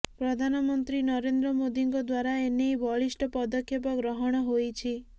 ପ୍ରଧାନମନ୍ତ୍ରୀ ନରେନ୍ଦ୍ର ମୋଦୀଙ୍କ ଦ୍ବାରା ଏନେଇ ବଳିଷ୍ଠ ପଦକ୍ଷେପ ଗ୍ରହଣ ହୋଇଛି